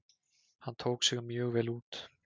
Hann tók sig mjög vel út.